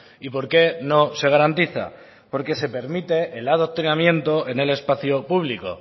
y por qué no se garantiza porque se permite el adoctrinamiento en el espacio público